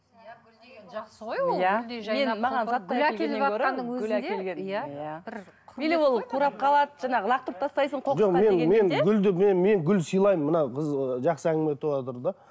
или ол қурап қалады жаңағы лақтырып тастайсың қоқысқа мен гүл сыйлаймын мына қыз жақсы әңгіме айтыватыр да